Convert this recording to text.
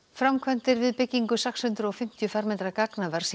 framkvæmdir við byggingu sex hundruð og fimmtíu fermetra gagnavers